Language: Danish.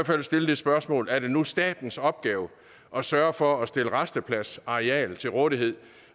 fald stille det spørgsmål er det nu statens opgave at sørge for at stille rastepladsareal til rådighed